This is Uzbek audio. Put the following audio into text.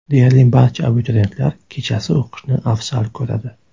Deyarli barcha abituriyentlar kechasi o‘qishni afzal ko‘radi.